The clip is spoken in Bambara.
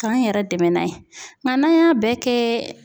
K'an yɛrɛ dɛmɛ n'a ye ŋa n'an y'a bɛɛ kɛ